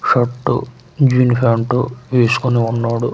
Shirt jeans pant వేసుకొని ఉన్నాడు.